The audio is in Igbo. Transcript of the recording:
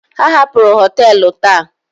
Ha hapụrụ họtelu taa.